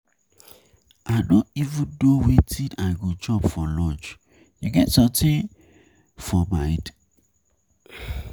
I no even know wetin I go chop for lunch, you get something for mind?